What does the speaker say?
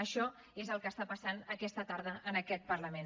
això és el que està passant aquesta tarda en aquest parlament